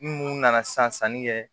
Mun nana sanni kɛ